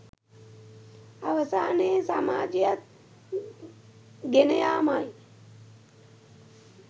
අවසානයේ සමාජයත් ගෙනයාමයි.